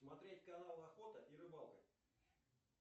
смотреть канал охота и рыбалка